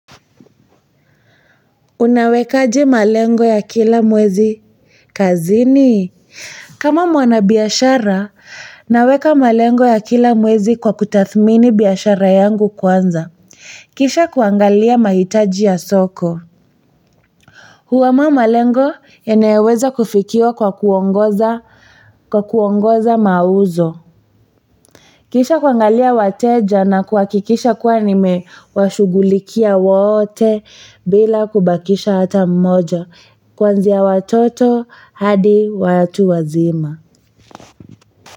Unawekaje malengo ya kila mwezi kazini? Kama mwana biashara, naweka malengo ya kila mwezi kwa kutathmini biashara yangu kwanza. Kisha kuangalia mahitaji ya soko. Huwa malengo yanayoweza kufikiwa kwa kuongoza kwa kuongoza mauzo kisha kuangalia wateja na kuhakikisha kuwa nimewashugulikia wote bila kubakisha hata mmoja. Kwanzia watoto hadi watu wazima.